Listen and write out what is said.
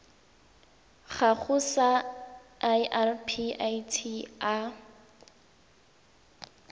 gago sa irp it a